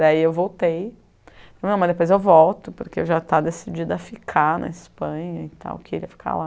Daí eu voltei, mas depois eu volto porque eu já estava decidida a ficar na Espanha e tal, queria ficar lá.